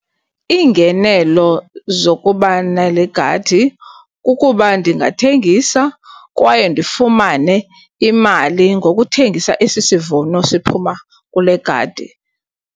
Iingenelo zokuba nale gadi kukuba ndingathengisa kwaye ndifumane imali ngokuthengisa esi sivuno siphuma kule gadi.